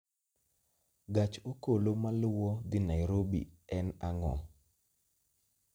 gach okolo maluwo dhi Nairobi en ang'o